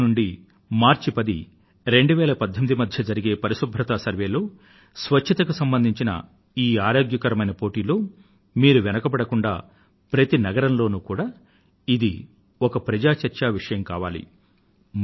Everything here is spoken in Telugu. జనవరి 4 నుండీ మార్చి 10 2018 మధ్య జరిగే పరిశుభ్రతా సర్వేలో స్వచ్ఛత కు సంబంధించిన ఈ ఆరోగ్యకరమైన పోటీలో మీరు వెనుకబడకుండా ప్రతి నగరంలోనూ కూడా ఇది ఒక ప్రజా చర్చా విషయం కావాలి